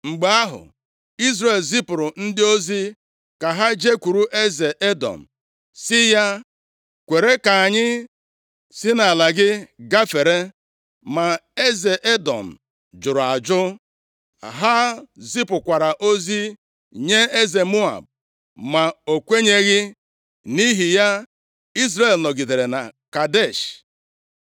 Mgbe ahụ, Izrel zipụrụ ndị ozi ka ha jekwuru eze Edọm sị ya, ‘Kwere ka anyị si nʼala gị gafere,’ ma eze Edọm jụrụ ajụ. Ha zipụkwara ozi nye eze Moab, ma o kwenyeghị. Nʼihi ya, Izrel nọgidere na Kadesh.